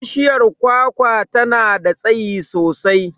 Bishiyar kwakwa tana da tsayi sosai.